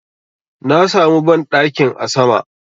Na samu banɗakin a sama